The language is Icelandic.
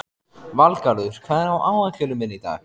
Valgarður, hvað er á áætluninni minni í dag?